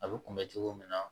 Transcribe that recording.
A bɛ kunbɛn cogo min na